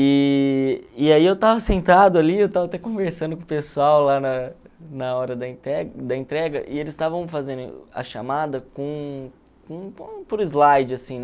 E e aí eu estava sentado ali, eu estava até conversando com o pessoal lá na na hora da da entrega, e eles estavam fazendo a chamada com por slide, assim, né?